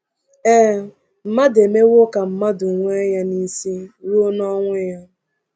Ee, “mmadụ emewo ka mmadụ nwe ya n’isi ruo n’ọnwụ ya.”